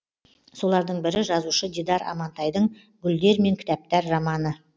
солардың бірі жазушы дидар амантайдың гүлдер мен кітаптар романы